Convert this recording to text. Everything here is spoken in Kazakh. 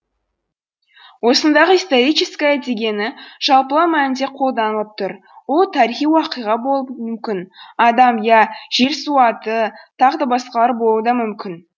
осындағы историческое дегені жалпылау мәнінде қолданылып тұр ол тарихи уақиға болуы мүмкін адам я жер су аты тағы да басқалар болуы да мүмкін